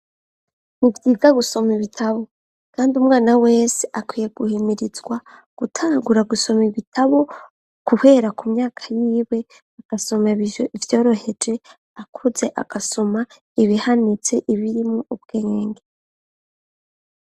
Uvyiga gusoma ibitabo, kandi umwana wese akwiye guhimirizwa gutangura gusoma ibitabo guhera ku myaka yibwe agasoma bijo ivyoroheje akuze agasoma ibihanitse ibirimwo ubwe ngenge.